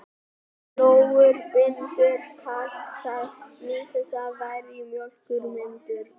Flúor bindur kalk, það nýtist þá verr til mjólkurmyndunar.